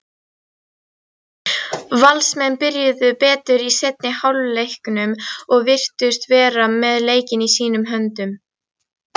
Valsmenn byrjuðu betur í seinni hálfleiknum og virtust vera með leikinn í sínum höndum.